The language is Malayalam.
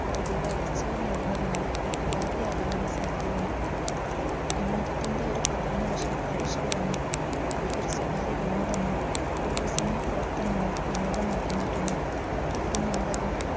ഭൗതിക വളർച്ചയോ നേടുന്നതിനുള്ള ഒരു ഉപാധി ആകാനുള്ള സാധ്യതയുണ്ട് വിനോദത്തിന്റെ ഒരു പ്രധാന വശം പ്രേക്ഷകരാണ് അത് ഒരു സ്വകാര്യ വിനോദമോ ഒഴിവുസമയ പ്രവർത്തനമോ വിനോദമാക്കി മാറ്റുന്നു ഒരു നാടകം